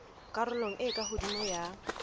karolong e ka hodimo ya